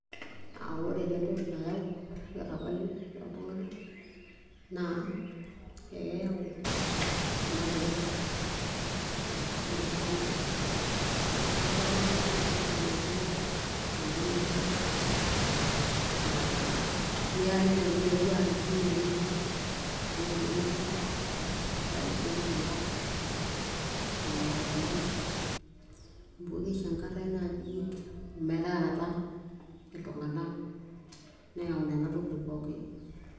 uh, ore taa entoki nayau ilarrabali lo ltung'anak naa ekeyawu irmarenken uh, ore taa ormarenke naa ekiyakini naaji ormarenke lemesipa uh, ninteruru aara tinewueji entoki i nemesipa eyau sii enchankarr lelo arrabali amu kishankarrae naaji ometaarata iltung'anak neyau nana tokitin pookin.